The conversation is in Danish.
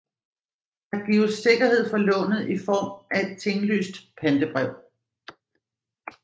Der gives sikkerhed for lånet i form af et tinglyst pantebrev